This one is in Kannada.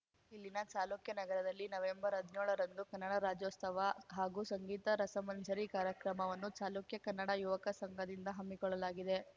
ಇಲ್ಲಿನ ಚಾಲುಕ್ಯ ನಗರದಲ್ಲಿ ನವೆಂಬರ್ಹದ್ನ್ಯೋಳರಂದು ಕನ್ನಡ ರಾಜ್ಯೋಸ್ತವ ಹಾಗೂ ಸಂಗೀತ ರಸಮಂಜರಿ ಕಾರ್ಯಕ್ರಮವನ್ನು ಚಾಲುಕ್ಯ ಕನ್ನಡ ಯುವಕ ಸಂಘದಿಂದ ಹಮ್ಮಿಕೊಳ್ಳಲಾಗಿದೆ